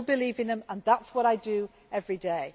I still believe in them and that is what I do every day.